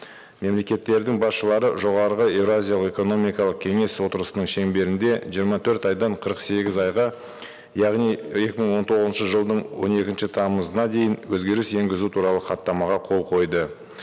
мемлекеттердің басшылары жоғарғы еуразиялық экономикалық кеңес отырысының шеңберінде жиырма төрт айдан қырық сегіз айға яғни екі мың он тоғызыншы жылдың он екінші тамызына дейін өзгеріс енгізу туралы хаттамаға қол қойды